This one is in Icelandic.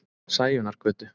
Sæunnargötu